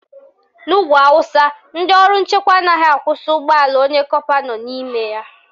N'ugwu Awụsa, ndị ọrụ nchekwa anaghị akwụsị ụgbọala onye kọpa nọ n'ime ya